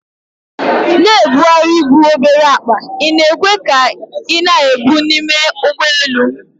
Na-ebugharị bụ obere akpa ị na-ekwe ka ị na-ebu n'ime ụgbọelu